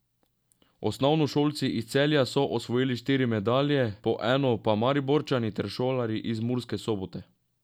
Osnovnošolci iz Celja so osvojili štiri medalje, po eno pa Mariborčani ter šolarji iz Murske Sobote.